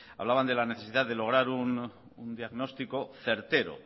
hablaban de la necesidad de lograr un diagnóstico certero